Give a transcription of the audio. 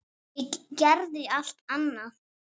Ég geri allt annað.